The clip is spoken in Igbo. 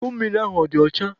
Iko mmiri ahụ ọ dị ọcha?